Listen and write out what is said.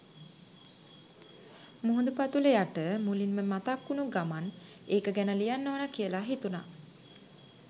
මුහුදු පතුල යට මුලින්ම මතක් වුනු ගමන් ඒක ගැන ලියන්න ඕනා කියලා හිතුනා.